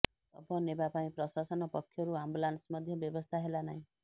ଶବ ନେବା ପାଇଁ ପ୍ରଶାସନ ପକ୍ଷରୁ ଆମ୍ବୁଲାନସ୍ ମଧ୍ୟ ବ୍ୟବସ୍ଥା ହେଲା ନାହିଁ